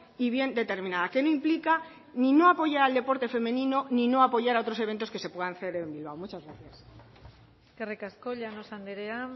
y bien determinada que no implica ni no apoyar al deporte femenino ni no apoyar a otros eventos que se puedan hacer en bilbao muchas gracias eskerrik asko llanos andrea